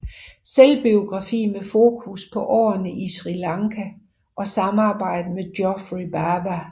Selvbiografi med fokus på årene i Sri Lanka og samarbejdet med Geoffrey Bawa